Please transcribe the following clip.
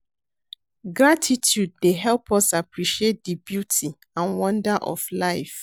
Gratitude dey help us appreciate di beauty and wonder of life.